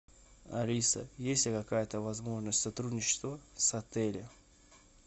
алиса есть ли какая то возможность сотрудничества с отелем